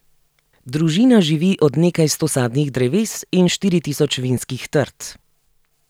Družina živi od nekaj sto sadnih dreves in štiri tisoč vinskih trt.